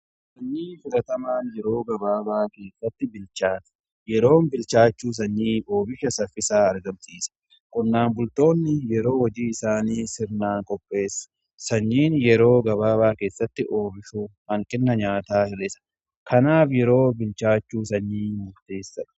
Sanyii fudhatamaan yeroo gabaabaa keessatti bilchaata. Yeroon bilchaachuu sanyii oomisha saffisaa argamsiisa. Qonnaan bultoonni yeroo hojii isaanii sirnaan qopheessu. Sanyiin yeroo gabaabaa keessatti oomishuu hanqina nyaataa hir'sa. Kanaaf yeroo bilchaachuu sanyii murteessa.